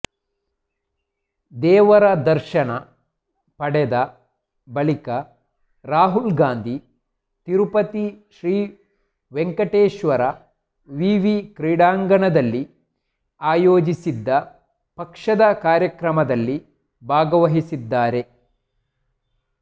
ದೇವರ ದರ್ಶನ ಪಡೆದ ಬಳಿಕ ರಾಹುಲ್ ಗಾಂಧಿ ತಿರುಪತಿ ಶ್ರೀ ವೆಂಕಟೇಶ್ವರ ವಿವಿ ಕ್ರೀಡಾಂಗಣದಲ್ಲಿ ಆಯೋಜಿಸಿದ್ದ ಪಕ್ಷದ ಕಾರ್ಯಕ್ರಮದಲ್ಲಿ ಭಾಗವಹಿಸಿದ್ದಾರೆ